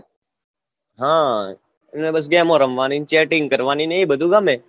હા એમાં બસ ગેમો રમવાની અને chatting કરવાની ને એ બધુ ગમે